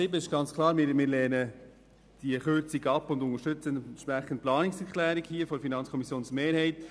Die Massnahme 7 lehnen wir klar ab und unterstützen die Planungserklärung 7 der FiKo-Mehrheit.